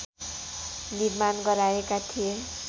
निर्माण गराएका थिए